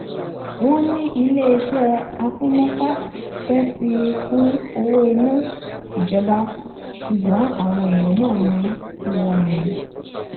wọn ní iléeṣẹ àpínnáká fẹẹ fi kún owó iná ìjọba ṣùgbọn àwọn èèyàn náà ní irọ ni